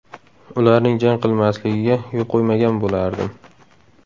Ularning jang qilmasligiga yo‘l qo‘ymagan bo‘lardim.